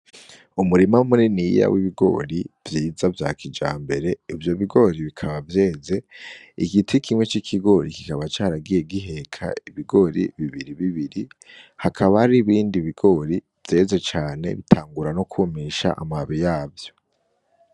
Umurima muniniya w’ibigori vyiza vya kijambere ivyo bigori bikaba vyeze . Igiti kimwe c’ikigori kikaba caragiye giheka ibigori bibiri bibiri hakaba hari ibindi bigori vyeze cane bitangura no kwumisha amababi yavyo.